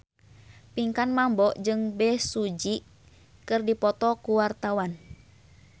Pinkan Mambo jeung Bae Su Ji keur dipoto ku wartawan